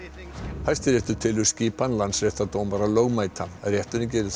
Hæstiréttur telur skipan landsréttardómara lögmæta rétturinn gerir þó